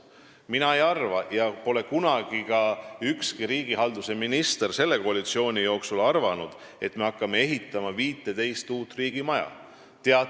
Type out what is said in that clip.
Mina ei arva – ja seda pole selle koalitsiooni jooksul kunagi ka ükski riigihalduse minister arvanud –, et me hakkame 15 uut riigimaja ehitama.